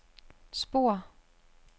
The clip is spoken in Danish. spor